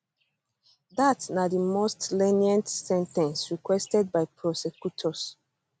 dat na di most lenient sen ten ce requested by prosecutors